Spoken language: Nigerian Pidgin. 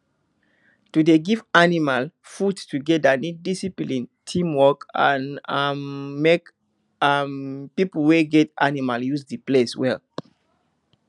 to dey give animal food together need discipline teamwork and um make um people wey get animal use the place well